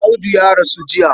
Audu ya rasu jiya.